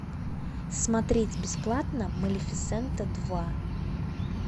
смотреть бесплатно малефисента два